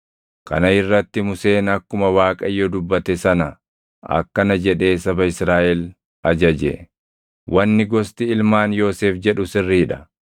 Kana irratti Museen akkuma Waaqayyo dubbate sana akkana jedhee saba Israaʼel ajaje: “Wanni gosti ilmaan Yoosef jedhu sirrii dha.